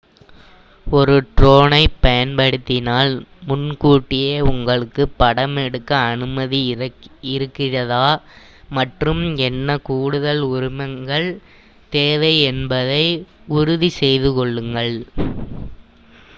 ஒரு ட்ரோனைப் பயன்படுத்தினால் முன்கூட்டியே உங்களுக்கு படமெடுக்க அனுமதி இருக்கிறதா மற்றும் என்ன கூடுதல் உரிமங்கள் தேவை என்பதை உறுதி செய்து கொள்ளுங்கள்